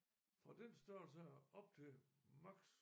Fra den størrelse her op til maks.